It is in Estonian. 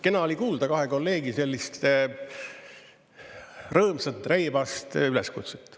Kena oli kuulda kahe kolleegi selliste rõõmsat ja reibast üleskutset.